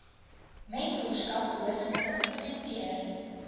mentorskap behoorlik geïmplementeer